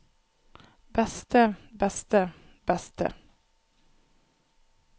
beste beste beste